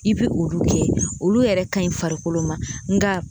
I bi olu kɛ olu yɛrɛ ka ɲi farikolo ma